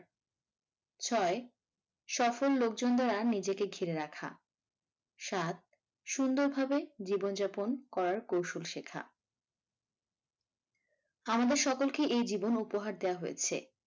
ছয় সফল লোকজন দ্বারা নিজেকে ঘিরে রাখা সাত সুন্দরভাবে জীবনযাপন করার কৌশল শেখা আমাদের সকলকে এই জীবন উপহার দেয়া হয়েছে।